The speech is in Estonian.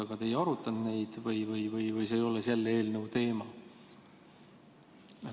Aga te ei arutanud neid, vaid ütlesite, et need ei ole selle eelnõu teema.